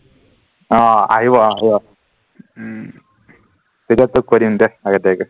আহ আহিব অ আহিব উম তেতিয়া তোক কৈ দিম দে আগতিয়াকে